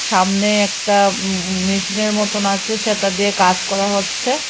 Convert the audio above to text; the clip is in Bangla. সামনে একটা উম উম মেশিনের মতন আচে সেটা দিয়ে কাজ করা হচ্ছে।